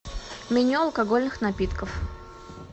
меню алкогольных напитков